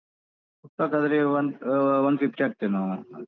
ಸುಕ್ಕಕ್ಕಾದ್ರೆ one ಆ one fifty ಹಾಕ್ತೇವೆ ನಾವು.